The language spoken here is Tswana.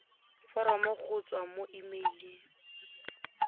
foromo go tswa mo emeileng